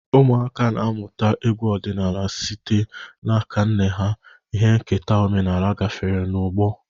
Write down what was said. Ụmụaka na-amụta egwu ọdịnala site n'aka nne ha, ihe nketa omenala gafere n'ọgbọ.